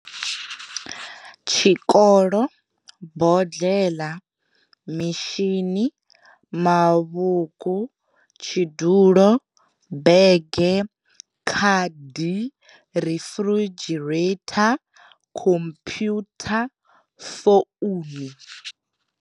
Tshikolo, bodleḽa mishinini, mavhuku, tshidulo, bege, khadi, refridgerator, khomphyutha, founu.